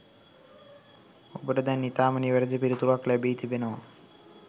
ඔබට දැන් ඉතාම නිවැරැදි පිළිතුරක් ලැබී තිබෙනවා.